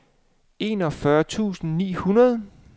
enogfyrre tusind ni hundrede